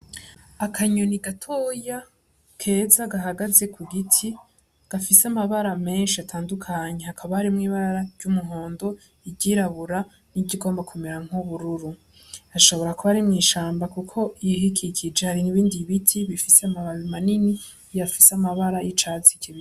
Akanyoni gatoya keza gahagaze ku giti, gafise amabara menshi atandukanye, hakaba harimwo ibara ry'umuhondo, iryirabura nirigomba kumera nk'ubururu, hashobora kuba ari mw'ishamba kuko ibiyikikije hari ibindi biti bifise amababi manini, afise amabara y'icatsi.